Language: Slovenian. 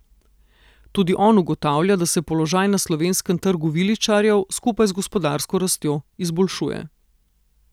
Tudi on ugotavlja, da se položaj na slovenskem trgu viličarjev, skupaj z gospodarsko rastjo, izboljšuje.